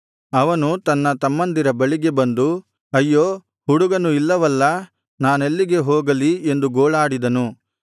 ಅವನು ತನ್ನ ತಮ್ಮಂದಿರ ಬಳಿಗೆ ಬಂದು ಅಯ್ಯೋ ಹುಡುಗನು ಇಲ್ಲವಲ್ಲಾ ನಾನೆಲ್ಲಿಗೆ ಹೋಗಲಿ ಎಂದು ಗೋಳಾಡಿದನು